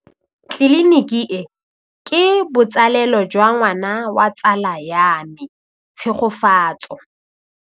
Tleliniki e, ke botsalêlô jwa ngwana wa tsala ya me Tshegofatso.